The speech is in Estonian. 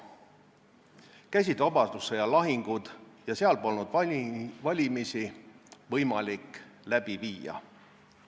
Käisid vabadussõja lahingud ja seal polnud võimalik valimisi läbi viia.